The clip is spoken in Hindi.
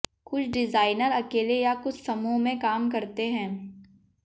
कुछ डिज़ाइनर अकेले या कुछ समूह में काम करते हैं